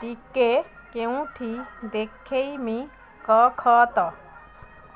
ଟିକେ କେଉଁଠି ଦେଖେଇମି କଖତ